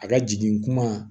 A ka jigin kuma